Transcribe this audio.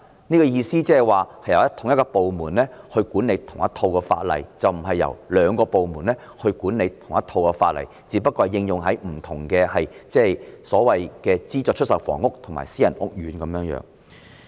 我的意思是由同一個部門來執行同一套法例，而不是由兩個部門來執行同一套法例，而分別只不過是應用在資助出售房屋和私人屋苑而已。